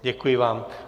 Děkuji vám.